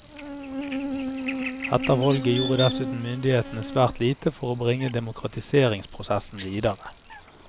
Etter valget gjorde dessuten myndighetene svært lite for å bringe demokratiseringsprosessen videre.